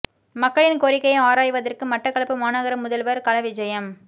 மக்களின் கோரிக்கையை ஆராய்வதற்கு மட்டக்களப்பு மாநகர முதல்வர் களவிஜயம்